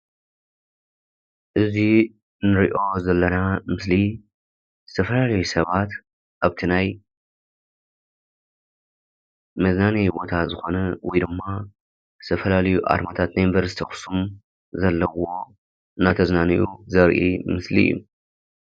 እዚ እንሪኦ ዘለና ምስሊ ዝተፈላለዩ ሰባት ኣብቲ ናይ መዝናነዪ ቦታ ዝኮነ ወይ ድማ ሰፈር እዩ። ዝተፈላለዩ ኣርማታት ናይ ዩኒቨርስቲ ኣክሱም ዘለዎ እንዳተዝናነዩ ዘርኢ ምስሊ እዩ።